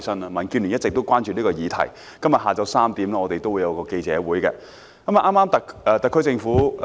民建聯一直也關注這個議題，故此今天下午3時我們會召開一個記者會。